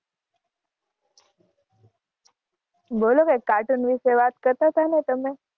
બોલોને કાર્ટૂન વિશે વાત કરતાં હતા ને તમે?